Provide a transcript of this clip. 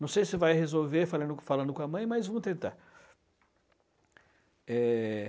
Não sei se vai resolver falando falando com a mãe, mas vamos tentar. É...